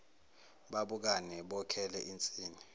babukane bokhele insini